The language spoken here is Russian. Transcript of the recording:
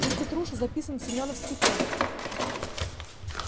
ведь петруша записан в семёновский полк